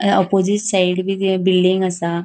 अ opposite side B building आसा.